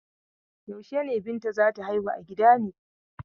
Yaushe ne Binta za ta haihu a gida ne?